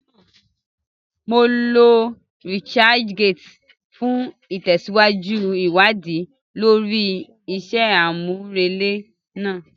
Mo lo researchgate fún ìtẹ̀síwájú ìwádìí lórí iṣẹ́ àmúrelé náà